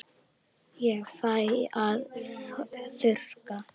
Ég fæ að þurrka.